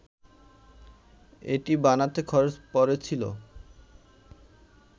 এটি বানাতে খরচ পড়েছিল